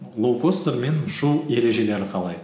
лоукостермен ұшу ережелері қалай